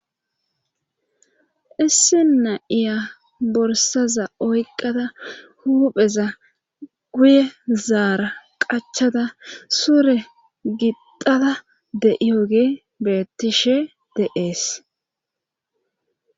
Issi na7iya borsaza oyqada hupheza guye zaara qachada sure gidada deiyogee bettishe de7ees.